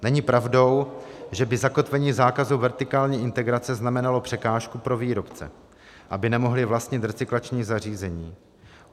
Není pravdou, že by zakotvení zákazu vertikální integrace znamenalo překážku pro výrobce, aby nemohli vlastnit recyklační zařízení.